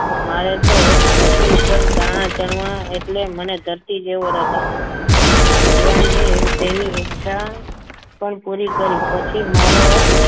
મારે તો ધરતી પર દાણા ચડવા એટલે મને ધરતી જેવો રંગ આપો ભગવાને તેની ઈચ્છા પણ પૂરી કરી પછી મારો